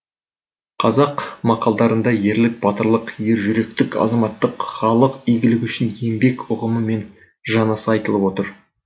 қазақ мақалдарында ерлік батырлық ержүректік азаматтық халық игілігі үшін еңбек ұғымы мен жанаса айтылып отырады